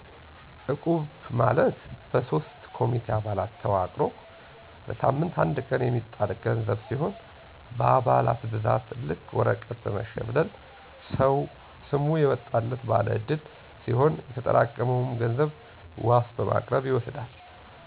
እቁብ` ማለት በሶስት ኮሚቴ አባላት ተዋቅሮ በሳምት አንድ ቀን የሚጣል ገንዘብ ሲሁን በአባላት ብዛት ልክ ወረቀት በመሽብለል ሰሙ የወጣላት ባለ ዕድል ሲሆን የተጠራቀመውን ገንዘብ ዋስ በማቅረብ ይወስዳል።